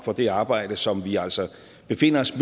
for det arbejde som vi altså befinder os